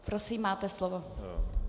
Prosím, máte slovo.